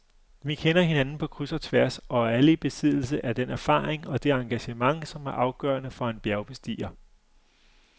Vi kender hinanden på kryds og tværs og er alle i besiddelse af den erfaring og det engagement, som er afgørende for en bjergbestiger.